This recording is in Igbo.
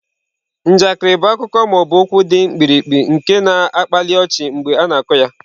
Njakịrị bụ akụkọ ma ọ bụ okwu dị mkpirikpi nke na-akpali ọchị mgbe a na-akọ ya.